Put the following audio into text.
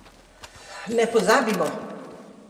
Ne pozabimo!